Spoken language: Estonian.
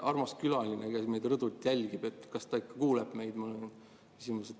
Armas külaline, kes meid rõdult jälgib – kas ta ikka kuuleb meid, on mu küsimus.